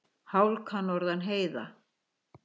Hálka norðan heiða